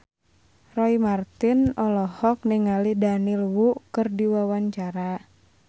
Roy Marten olohok ningali Daniel Wu keur diwawancara